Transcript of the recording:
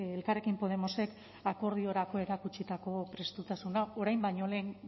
elkarrekin podemosek akordiorako erakutsitako prestutasuna orain baino lehen